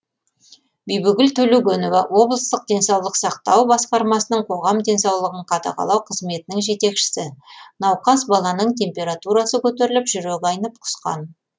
бибігүл төлегенова облыстық денсаулық сақтау басқармасының қоғам денсаулығын қадағалау қызметінің жетекшісі науқас баланың температурасы көтеріліп жүрегі айнып құсқан